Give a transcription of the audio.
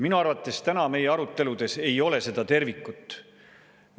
Minu arvates täna meie aruteludes ei ole seda tervikut.